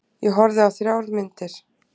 Ég horfði á þrjár myndir.